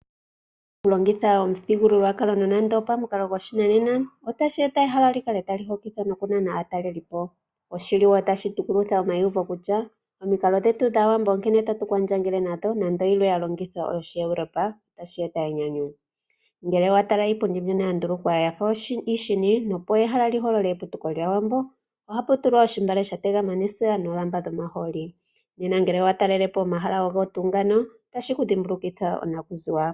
Okulongitha omuthigululwakalo nonando opomukalo goshinanena, otashi eta ehala li kale tali hokitha nokunana aatalelipo. Otashi tukulutha wo omayiuvo kutya omikalo dhetu dhAawambo onkene tatu kwandjangele nadho nando yilwe ya longithwa oyOshieuropa, otashi eta enyanyu. Ngele wa tala iipundi mbyono ya ndulukwa ya fa iishini, opo ehala li holole eputuko lyAawambo ohapu tulwa ontungwa ya tegama nesiga noolamba dhomahooli. Ngele owa talele po omahala ogo tuu ngano otashi ku dhimbulukitha onakuziwa.